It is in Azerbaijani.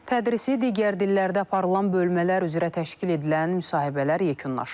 Tədrisi digər dillərdə aparılan bölmələr üzrə təşkil edilən müsahibələr yekunlaşıb.